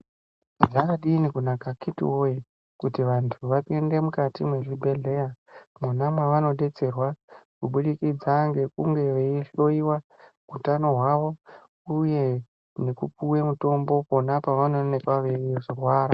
Zvakadini kunaka akiti woye kuti vantu vapinde mukati mezvibhedhlera mwona mavanobetserwa kubudikidza ngekunge veihloyiwa utano hwavo uye nekupiwa mutombo pona pavanoonekwa veirwara .